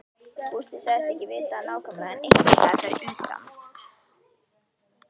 Gústi sagðist ekki vita það nákvæmlega en einhversstaðar fyrir utan